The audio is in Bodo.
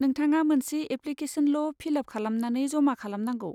नोंथाङा मोनसे एप्लिकेसनल' फिल आप खालामनानै जमा खालामनांगौ।